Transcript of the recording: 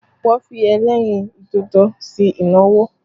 Wọn fi ẹlẹ́rìn dodo ṣe ìnáwó